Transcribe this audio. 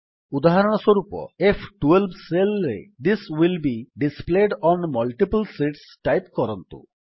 ଉଦାହରଣସ୍ୱରୂପ ଏଫ୍12 ସେଲ୍ ରେ this will be displayed on multiple sheets type କରନ୍ତୁ